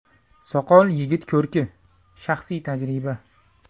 Soqol yigit ko‘rki shaxsiy tajriba.